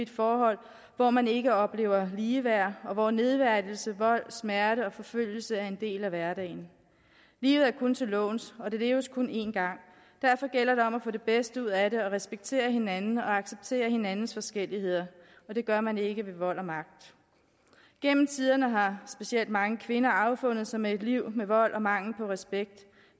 forhold hvor man ikke oplever ligeværd og hvor nedværdigelse vold smerte og forfølgelse er en del af hverdagen livet er kun til låns og det leves kun én gang derfor gælder det om at få det bedste ud af det og respektere hinanden og acceptere hinandens forskelligheder og det gør man ikke ved vold og magt gennem tiderne har specielt mange kvinder affundet sig med et liv med vold og mangel på respekt